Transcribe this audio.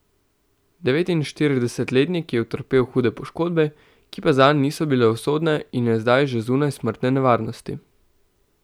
Devetinštiridesetletnik je utrpel hude poškodbe, ki pa zanj niso bile usodne in je zdaj že zunaj smrtne nevarnosti.